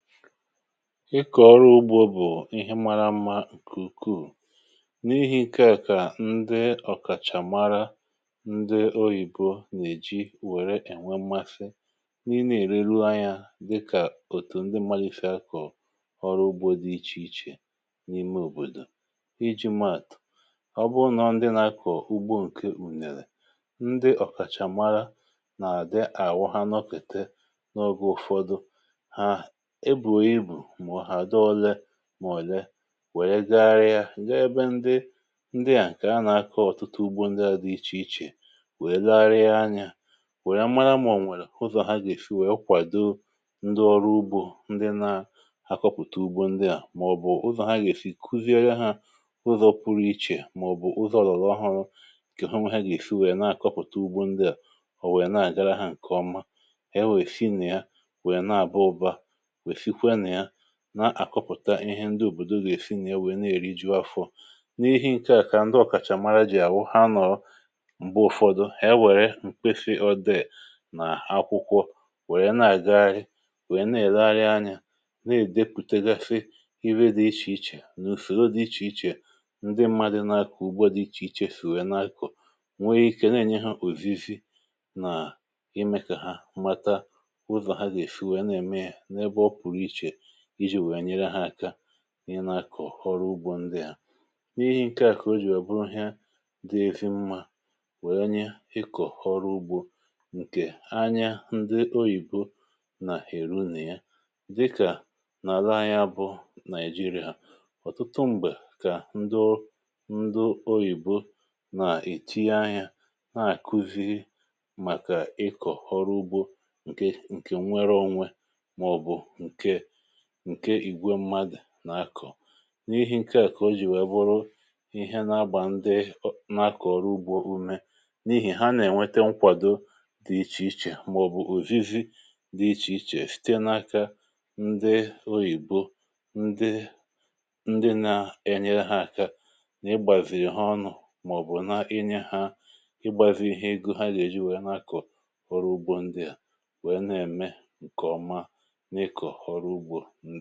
Ịkọ̀ ọrụ ugbò bụ̀ ihe mara mmá, ǹkùkù n’ihi̇ ike à, kà ndị ọ̀kàchà mara, ndị oyìbo nà-èji wèrè ènwe mmasị, n’ihi nà-èrèlụ ahịá dịkà òtù um ndị malịfè akọ̀ ọrụ ugbò dị iche iche n’ime òbòdò iji̇ maàtụ̀. Ọ bụ nà ndị nà-akọ̀ ugbò nke ùnèrè, ndị ọ̀kàchà mara, nà-àdị àwụ, ha nọkè n’ọ̀gè ụ̀fọdụ. Màọ̀lè wèe gara ya ǹga-ebe ndị ndị a, nke a nà-akọ̀, ọ̀tụtụ ugbò um ndị a dị iche iche, wèe laa rie anya, wèe mara, um màọ̀nụ̀ ụzọ̀ ha gà-èfi, wèe kwàdo ndị ọrụ ugbò, ndị na-akọpụta ugbò ndị a.. Màọ̀bụ̀ ụzọ̀ ha gà-èfi kuzie ha ụzọ̇ pụrụ iche, màọ̀bụ̀ ụzọ̇ um ọlọ̀lọ̀ ọhụrụ, nke hùnwa ha gà-èfi, wèe na-àkọpụta ugbò ndị a. Ọ̀ wèe na-àgara hȧ, nke ọma, na-àkọpụ̀ta ihe ndị òbòdò gà-èsi n’ịewè na-èri, jụọ afọ̇. N’ihe nke a, kà ndị ọ̀kàchà mara jì àwụ, ha nọ̀ọ m̀be ụfọdụ, ya wèrè m̀kpefi ọdịè nà akwụkwọ, wèrè na-àga ahịrị, wèe na-èlegharịa anya, um na-èdepụtagafe iwe dị iche iche n’ùfèdo dị iche iche, ndị mmadụ̇ na-akụ̀ ugbò dị iche iche. Sì wèe na-akụ̀ nweghị̇ ike, na-ènye hȧ òvizi nà ime kà ha mmata ụzọ̀ ha gà-èfi, wèe na-ème ya iji̇ wèe nyere ha aka.. um i nà-ȧkọ̀ ọrụ ugbò ndị ha. N’ihe nke à, kà o jì ọ̀ bụrụ ihe dịvị̇ mmà, wèe nye i kọ̀họrọ ugbò nke anyà. Ndị oyìbo nà-èru nè ya dịkà n’ala anyà bụ̀ Nàịjíríyà. Ha ọ̀tụtụ m̀gbè kà ndị ọ̀dịnàlà oyìbo nà-èti ahịá, na-àkuzi màkà ịkọ̀ ọrụ ugbò um Nke a, nke nwere ȯnwė, nke ìgwè mmadụ̀ n’akọ̀, n’ihe nke à, kà o jì wèe bụrụ ihe nà-agbà ndị n’akọ̀ ọrụ ugbò ume, n’ihi ha nà-ènwete nkwàdo dị̇ iche iche, màọ̀bụ̀ ùzizi dị̇ iche iche, fìte n’aka ndị oyìbo, ndị nà-ènye ha aka, nà ịgbàzìrì ha ọnụ̇, um màọ̀bụ̀ na-enye ha ịgbàzị̇ ihe ego ha gà-èji wèe n’akọ̀ ọrụ ugbò ndị a, wèe na-ème nke ọma.